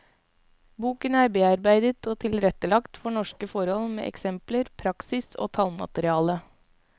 Boken er bearbeidet og tilrettelagt for norske forhold med eksempler, praksis og tallmateriale.